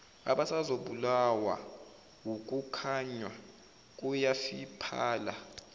abasazobulawa ukukhanya kuyafiphala